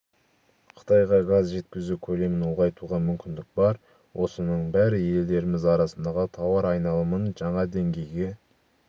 қытайға газ жеткізу көлемін ұлғайтуға мүмкіндік бар осының бәрі елдеріміз арасындағы тауар айналымын жаңа деңгейге